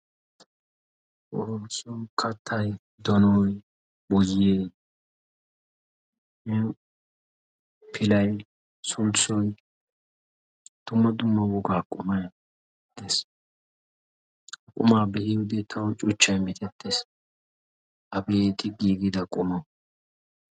Sulisso kattay, donoy, boyee, pilay sulssoy dumma dumma wogaa qummay dees. Ha qummaa be'iyodee tawu cuchchay mitettees.